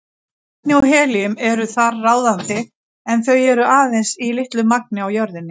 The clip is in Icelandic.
Vetni og helíum eru þar ráðandi en þau eru aðeins í litlu magni á jörðinni.